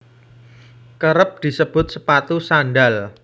Kérép disebut sepatu sandhal